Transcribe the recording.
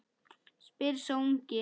spyr sá ungi.